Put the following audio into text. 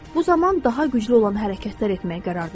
Bu zaman daha güclü olan hərəkətlər etməyə qərar verdi.